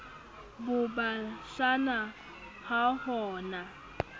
bo bashana ha ho na